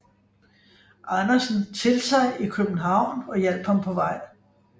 Andersen til sig i København og hjalp ham på vej